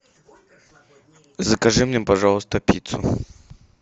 закажи мне пожалуйста пиццу